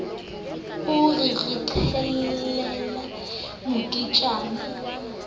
o re re qhelele moketjana